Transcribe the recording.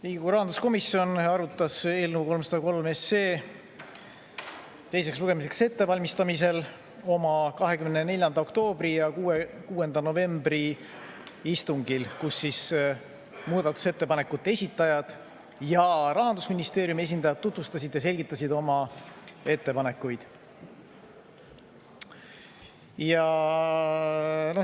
Riigikogu rahanduskomisjon arutas eelnõu 303 teiseks lugemiseks ettevalmistamisel oma 24. oktoobri ja 6. novembri istungil, kus muudatusettepanekute esitajad ja Rahandusministeeriumi esindajad tutvustasid ja selgitasid oma ettepanekuid.